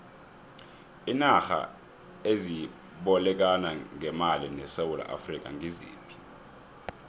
iinarha ezibolekana ngemali nesewula afrika ngiziphi